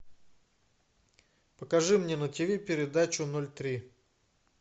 покажи мне на тв передачу ноль три